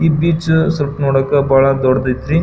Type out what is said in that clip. ಈ ಬ್ರಿಜ್ ಸ್ವಲ್ಪ ನೋಡಕ್ ಬಹಳ್ ದೊಡ್ಡದ್ ಆಯ್ತ್ರಿ .